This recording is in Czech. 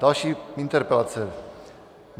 Další interpelace.